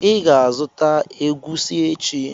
I ga-azụta egwusi echi.